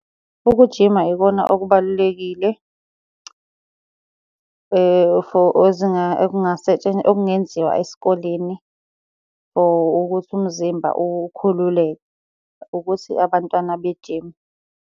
Ukujima yikona okubalulekile, for okungenziwa esikoleni for ukuthi umzimba ukhululeke, ukuthi abantwana bejime.